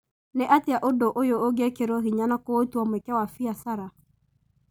Nĩ atĩa ũndũ ũyũ ũngĩĩkirwo hinya na kũũtua mweke wa biacara ?